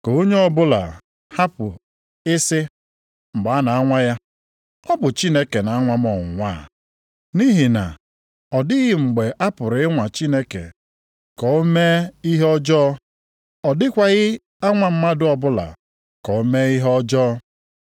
Ka onye ọbụla hapụ ị sị, mgbe a na-anwa ya, “Ọ bụ Chineke na-anwa m ọnwụnwa a.” Nʼihi na ọ dịghị mgbe a pụrụ ịnwa Chineke ka o mee ihe ọjọọ, ọ dịkwaghị anwa mmadụ ọbụla ka o mee ihe ọjọọ.